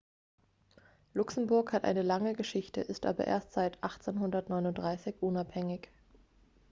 luxemburg hat eine lange geschichte ist aber erst seit 1839 unabhängig